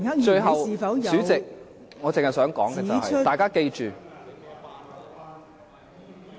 最後，代理主席，我只想說，大家記住......